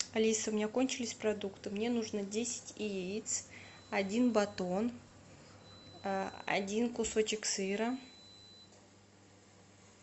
алиса у меня кончились продукты мне нужно десять яиц один батон один кусочек сыра